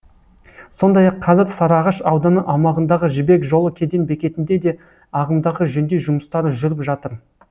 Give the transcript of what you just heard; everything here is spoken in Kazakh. сондай ақ қазір сарыағаш ауданы аумағындағы жібек жолы кеден бекетінде де ағымдағы жөндеу жұмыстары жүріп жатыр